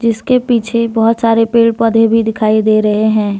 इसके पीछे बहोत सारे पेड़ पौधे भी दिखाई दे रहे हैं।